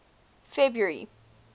february